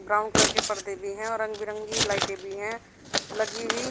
Brown colour के पर्दे भी हैं और रंग बिरंगी लाइटें भी हैं लगी हुई।